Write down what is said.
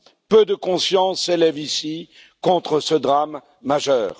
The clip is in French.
Peu de consciences s'élèvent ici contre ce drame majeur.